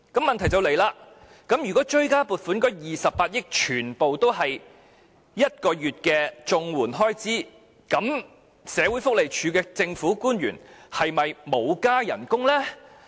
問題就出現了：如果追加撥款的28億元全都用於綜援1個月額外援助金的開支，社署的政府官員是否沒有增加薪酬呢？